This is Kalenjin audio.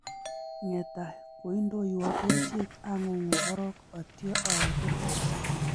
Ngetai kindoiwo kerchek ang'ung'u korok atio awe kurkat